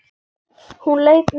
Hún leit niður.